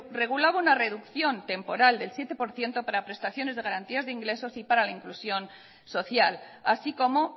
regulaba una reducción temporal del siete por ciento para prestaciones de garantías de ingresos y para la inclusión social así como